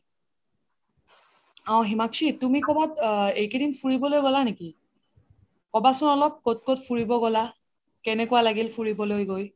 অহ হিমাক্শি তুমি কবাত এই কেইদিন ফুৰিবলৈ গ্'লা নেকি ? কবাচোন অলপ ক্'ত ক'ত ফুৰিবলৈ গ্'লা কেনেকোৱা লাগিল ফুৰিবলৈ গৈ